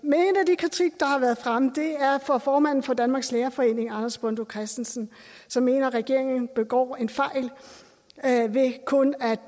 kritik der har været fremme er fra formanden for danmarks lærerforening anders bondo christensen som mener at regeringen begår en fejl ved kun at